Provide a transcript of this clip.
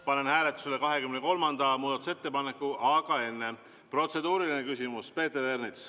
Panen hääletusele 23. muudatusettepaneku, aga enne protseduuriline küsimus Peeter Ernitsalt.